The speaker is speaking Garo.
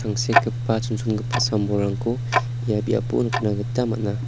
chonchongipa sam-bolrangko ia biapo nikna gita man·a.